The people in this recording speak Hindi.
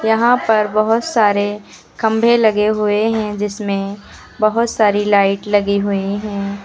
यहां पर बहोत सारे खंभे लगे हुए हैं जिसमें बहोत सारी लाइट लगी हुई हैं।